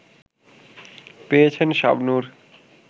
পেয়েছেন শাবনূর